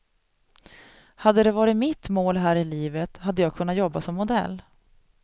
Hade det varit mitt mål här i livet hade jag kunnat jobba som modell.